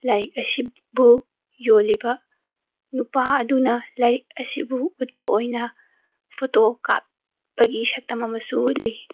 ꯂꯥꯏꯔꯤꯛ ꯑꯁꯤꯕꯨ ꯌꯣꯜꯂꯤꯕ ꯅꯨꯄꯥ ꯑꯗꯨꯅ ꯂꯥꯏꯔꯤꯛ ꯑꯁꯤꯕꯨ ꯎꯠꯄ ꯑꯣꯏꯅ ꯐꯣꯇꯣ ꯀꯥꯞꯄꯒꯤ ꯁꯛꯇꯝ ꯑꯃꯁꯨ ꯎꯠꯂꯤ꯫